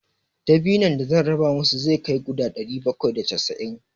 Dabinon da zan raba musu zai kai guda ɗari bakwai da casa'in.